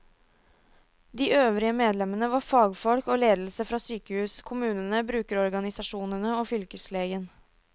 De øvrige medlemmene var fagfolk og ledelse fra sykehus, kommunene, brukerorganisasjonene og fylkeslegen.